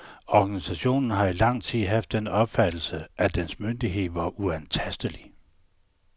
Organisationen har i lang tid haft den opfattelse, at dens myndighed var uantastelig.